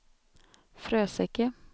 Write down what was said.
Fröseke